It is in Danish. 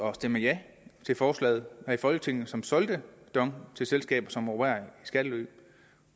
at stemme ja til forslaget her i folketinget som solgte dong til selskaber som opererer i skattely